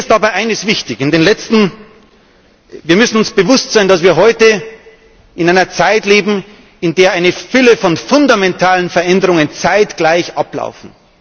Mir ist dabei eines wichtig Wir müssen uns bewusst sein, dass wir heute in einer Zeit leben, in der eine Fülle von fundamentalen Veränderungen zeitgleich ablaufen.